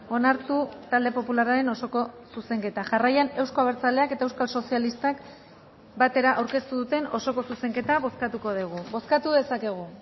onartu talde popularraren osoko zuzenketa jarraian euzko abertzaleak eta euskal sozialistak batera aurkeztu duten osoko zuzenketa bozkatuko dugu bozkatu dezakegu